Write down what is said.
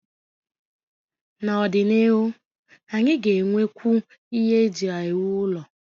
N'ọdịnihu, anyị ga-enwekwu ihe eji ewu ụlọ.